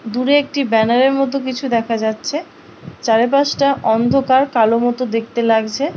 দূরে একটি ব্যানারের মতো কিছু দেখা যাচ্ছে। চারপাশটা অন্ধকার কালো মতো দেখতে লাগছে।